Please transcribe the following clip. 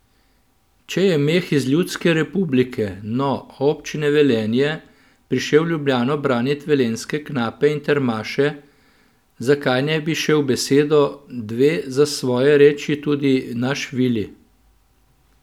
Če je Meh iz ljudske republike, no, občine Velenje, prišel v Ljubljano branit velenjske knape in termaše, zakaj ne bi šel besedo, dve za svoje reči tudi naš Vili?